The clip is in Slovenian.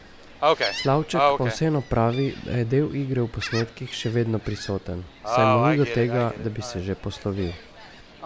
Slavček pa vseeno pravi, da je del igre v posnetkih še vedno prisoten, saj mu ni do tega, da bi se že poslovil.